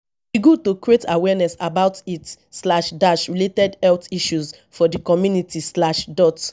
e good to create awareness about heat slash dash related health issues for di community slash dot